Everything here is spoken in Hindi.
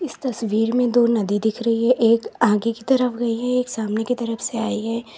इस तस्वीर में दो नदी दिख रही है एक आगे की तरफ गई है एक सामने की तरफ से आई है।